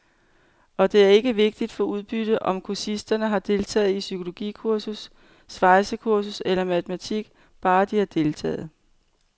Og det er ikke vigtigt for udbyttet, om kursisterne har deltaget i psykologikursus, svejsekursus eller matematik, bare de har deltaget.